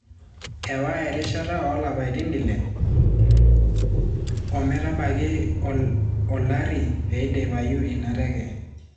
Ewa erishata olapaitin ile ometabaiki olari peidipayu ina teke.